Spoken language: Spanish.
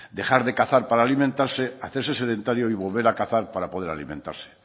dejar de cazar para alimentarse hacerse sedentario y volver a cazar para poder alimentarse